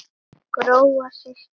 Gróa systir.